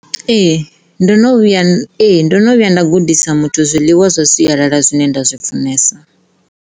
Ee ndo no vhuya, ee, ndono vhuya nda gudisa muthu zwiḽiwa zwa sialala zwine nda zwi funesa.